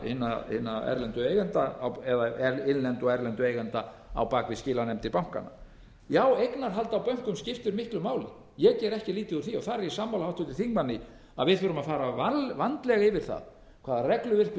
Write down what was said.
hinna erlendu eigenda eða innlendu og erlendu eigenda á bak við skilanefndir bankanna já eignarhald á bönkum skiptir miklu máli ég geri ekki lítið úr því þar er ég sammála háttvirtum þingmanni að við þurfum að fara vandlega yfir það hvaða regluverk við